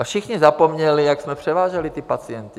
A všichni zapomněli, jak jsme převáželi ty pacienty?